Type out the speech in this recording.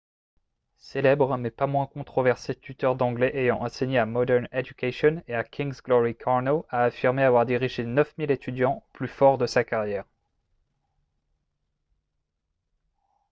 célèbre mais pas moins controversé tuteur d'anglais ayant enseigné à modern education et à king's glory karno a affirmé avoir dirigé 9 000 étudiants au plus fort de sa carrière